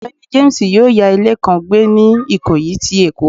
Ọgbẹni James yọọ ya ile kan gbè ni ikoyi ti Èko.